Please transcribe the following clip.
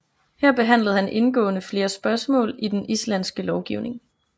Her behandlede han indgående flere spørgsmål i den islandske lovgivning